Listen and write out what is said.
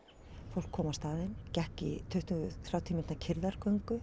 fólk kom á staðinn gekk í tuttugu til þrjátíu mínútna